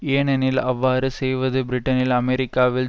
ஏனெனில் அவ்வாறு செய்வது பிரிட்டனில் அமெரிக்காவில்